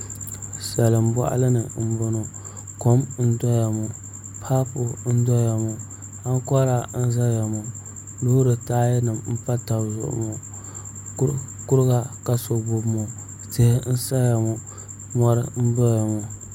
Salin boɣali ni n boŋo kom n doya ŋo paapu n doya ŋo ankora n ʒɛya ŋo loori taaya nim n pa tabi zuɣu ŋo kuriga ka so gbubi ŋo tihi n saya ŋo mori n doya ŋo